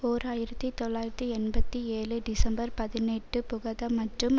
ஓர் ஆயிரத்தி தொள்ளாயிரத்தி எண்பத்தி ஏழு டிசம்பர் பதினெட்டு புகக மற்றும்